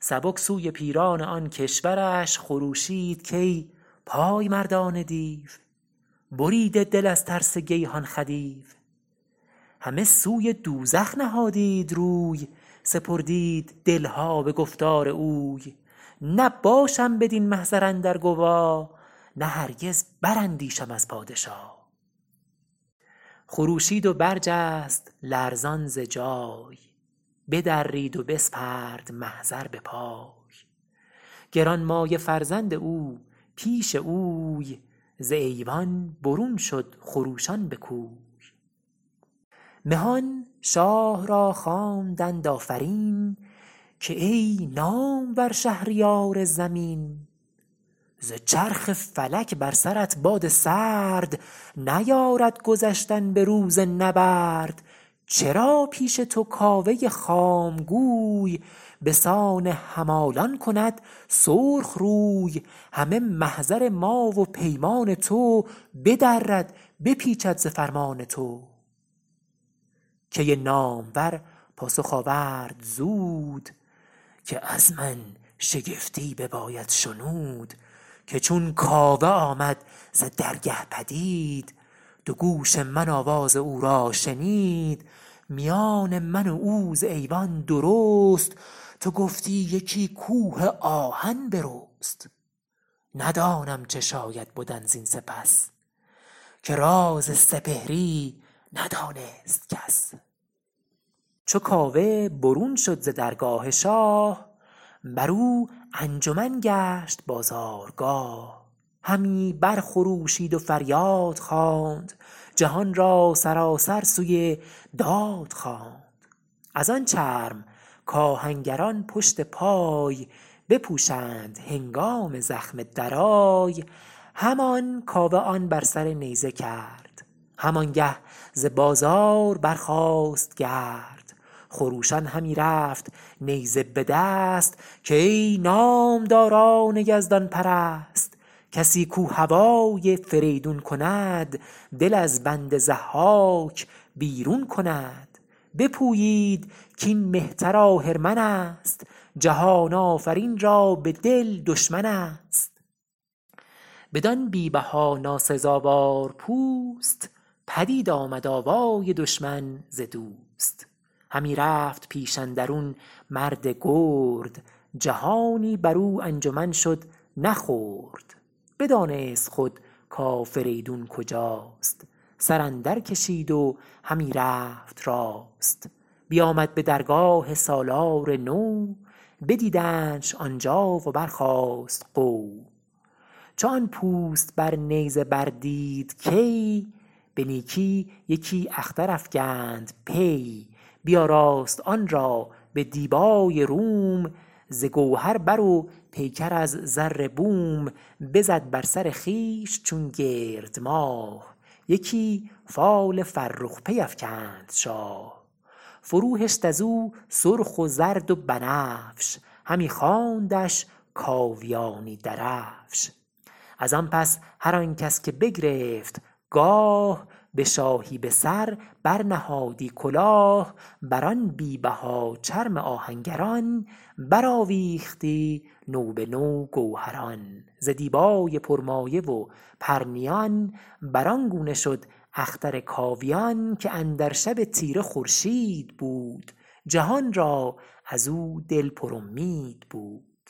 سبک سوی پیران آن کشورش خروشید کای پای مردان دیو بریده دل از ترس گیهان خدیو همه سوی دوزخ نهادید روی سپردید دل ها به گفتار اوی نباشم بدین محضر اندر گوا نه هرگز براندیشم از پادشا خروشید و برجست لرزان ز جای بدرید و بسپرد محضر به پای گرانمایه فرزند او پیش اوی ز ایوان برون شد خروشان به کوی مهان شاه را خواندند آفرین که ای نامور شهریار زمین ز چرخ فلک بر سرت باد سرد نیارد گذشتن به روز نبرد چرا پیش تو کاوه خام گوی به سان همالان کند سرخ روی همه محضر ما و پیمان تو بدرد بپیچد ز فرمان تو کی نامور پاسخ آورد زود که از من شگفتی بباید شنود که چون کاوه آمد ز درگه پدید دو گوش من آواز او را شنید میان من و او ز ایوان درست تو گفتی یکی کوه آهن برست ندانم چه شاید بدن زین سپس که راز سپهری ندانست کس چو کاوه برون شد ز درگاه شاه برو انجمن گشت بازارگاه همی بر خروشید و فریاد خواند جهان را سراسر سوی داد خواند از آن چرم کآهنگران پشت پای بپوشند هنگام زخم درای همان کاوه آن بر سر نیزه کرد همان گه ز بازار برخاست گرد خروشان همی رفت نیزه به دست که ای نامداران یزدان پرست کسی کاو هوای فریدون کند دل از بند ضحاک بیرون کند بپویید کاین مهتر آهرمن است جهان آفرین را به دل دشمن است بدان بی بها ناسزاوار پوست پدید آمد آوای دشمن ز دوست همی رفت پیش اندرون مرد گرد جهانی برو انجمن شد نه خرد بدانست خود کافریدون کجاست سر اندر کشید و همی رفت راست بیامد به درگاه سالار نو بدیدندش آن جا و برخاست غو چو آن پوست بر نیزه بر دید کی به نیکی یکی اختر افگند پی بیاراست آن را به دیبای روم ز گوهر بر و پیکر از زر بوم بزد بر سر خویش چون گرد ماه یکی فال فرخ پی افکند شاه فرو هشت ازو سرخ و زرد و بنفش همی خواندش کاویانی درفش از آن پس هر آن کس که بگرفت گاه به شاهی به سر بر نهادی کلاه بر آن بی بها چرم آهنگران برآویختی نو به نو گوهران ز دیبای پرمایه و پرنیان بر آن گونه شد اختر کاویان که اندر شب تیره خورشید بود جهان را ازو دل پر امید بود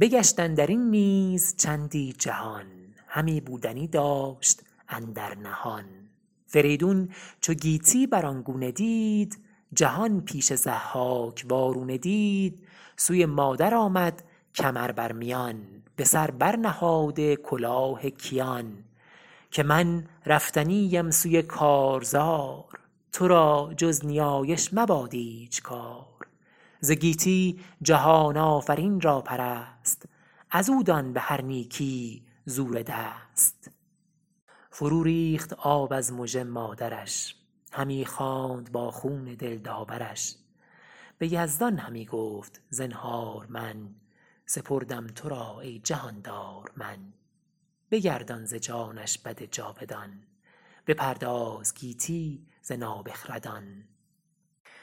بگشت اندرین نیز چندی جهان همی بودنی داشت اندر نهان فریدون چو گیتی بر آن گونه دید جهان پیش ضحاک وارونه دید سوی مادر آمد کمر بر میان به سر بر نهاده کلاه کیان که من رفتنی ام سوی کارزار تو را جز نیایش مباد ایچ کار ز گیتی جهان آفرین را پرست ازو دان بهر نیکی زور دست فرو ریخت آب از مژه مادرش همی خواند با خون دل داورش به یزدان همی گفت زنهار من سپردم تو را ای جهاندار من بگردان ز جانش بد جاودان بپرداز گیتی ز نابخردان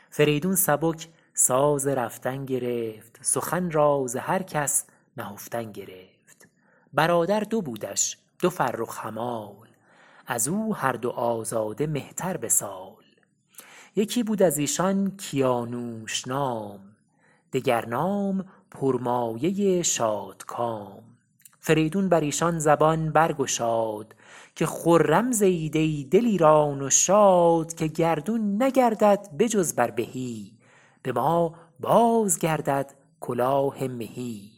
فریدون سبک ساز رفتن گرفت سخن را ز هر کس نهفتن گرفت برادر دو بودش دو فرخ همال ازو هر دو آزاده مهتر به سال یکی بود ازیشان کیانوش نام دگر نام پرمایه شادکام فریدون بریشان زبان برگشاد که خرم زیید ای دلیران و شاد که گردون نگردد به جز بر بهی به ما بازگردد کلاه مهی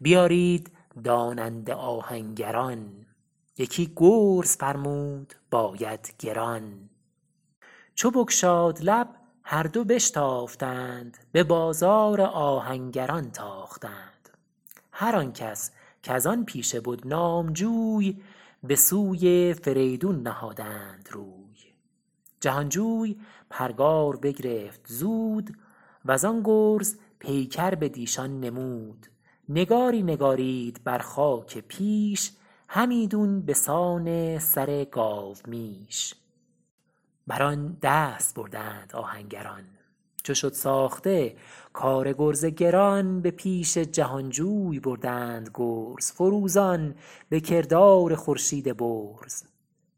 بیارید داننده آهنگران یکی گرز فرمود باید گران چو بگشاد لب هر دو بشتافتند به بازار آهنگران تاختند هر آن کس کز آن پیشه بد نام جوی به سوی فریدون نهادند روی جهان جوی پرگار بگرفت زود وزان گرز پیکر بٕدیشان نمود نگاری نگارید بر خاک پیش همیدون به سان سر گاومیش بر آن دست بردند آهنگران چو شد ساخته کار گرز گران به پیش جهان جوی بردند گرز فروزان به کردار خورشید برز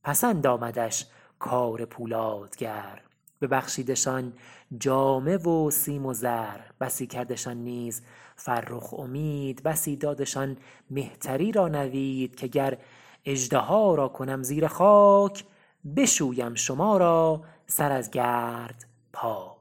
پسند آمدش کار پولادگر ببخشیدشان جامه و سیم و زر بسی کردشان نیز فرخ امید بسی دادشان مهتری را نوید که گر اژدها را کنم زیر خاک بشویم شما را سر از گرد پاک